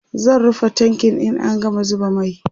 zan rufe tankin in an gama zuba mai